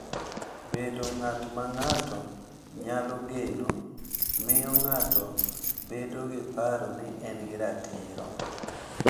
Bedo ng’at ma ng’ato nyalo geno miyo ng’ato bedo gi paro ni en gi arita,